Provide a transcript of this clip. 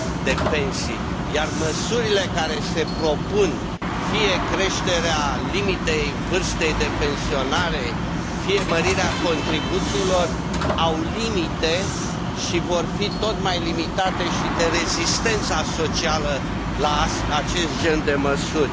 de pensii, iar măsurile care se propun, fie creșterea limitei vârstei de pensionare, fie mărirea contribuțiilor, au limite și vor fi tot mai limitate și de rezistența socială la acest gen de măsuri.